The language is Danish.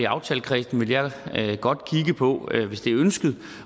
aftalekredsen godt kigge på hvis det er ønsket